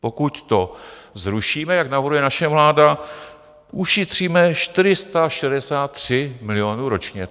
Pokud to zrušíme, jak navrhuje naše vláda, ušetříme 463 milionů ročně.